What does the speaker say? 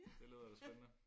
Det lyder da spændende